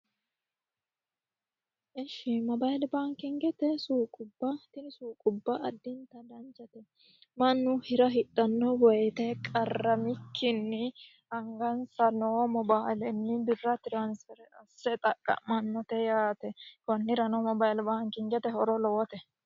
Ishi Mobile baankubbate suuqubba tini suuqubba additta danchate mannu hira hidhano woyte qarramikkinni angasa noo mobilenni birra transfer asse xaqamanote yaate konirano mobile baankingete horo lowote.